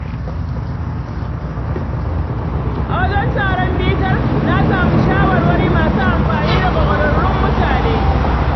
A wajen taron bitar, na samu shawarwari masu amfani daga ƙwararrun mutane.